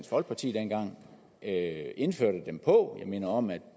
folkeparti dengang indførte dem på jeg minder om at